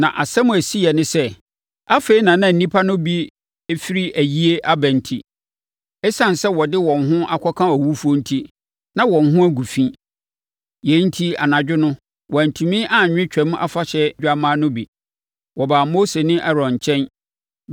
Na asɛm a ɛsiiɛ ne sɛ, afei na na nnipa no bi firi ayie aba enti, ɛsiane sɛ wɔde wɔn ho aka owufoɔ enti, na wɔn ho agu fi. Yei enti anadwo no, wɔantumi anwe Twam Afahyɛ dwammaa no bi. Wɔbaa Mose ne Aaron nkyɛn